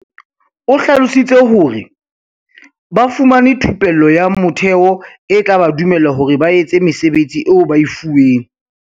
O hlalositse hore, "Ba fumane thupello ya motheo e tla ba dumella hore ba etse mesebetsi eo ba e fuweng."